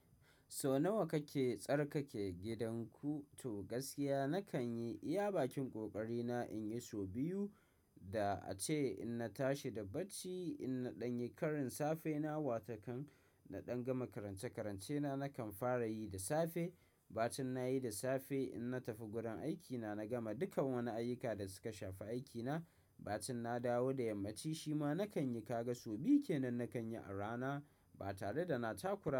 So nawa kake tsarkake gidanku? To gaskiya nakan yi iya bakin ƙoƙari na in yi sau biyu. Da ace in na tashi da bacci, in na ɗan yi karin safe na, wataƙan na ɗan gama karance-karance na, nakan fara yi da safe. Ba tun na yi da safe, in na tafi gurin aikina, na gama dukan wani ayyuka da suka shafi aikina. Ba tun na dawo da yammaci shima nakan yi. Kaga sau biyu ke nan nakan yi a rana ba tare da na takura.